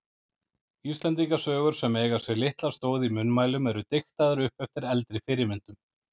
Íslendingasögur sem eiga sér litla stoð í munnmælum eru diktaðar upp eftir eldri fyrirmyndum.